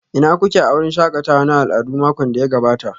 Ina kuke a wurin shakatawa na al'adu makon da ya gabata?